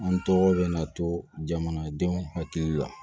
An tɔgɔ bɛ na to jamanadenw hakili la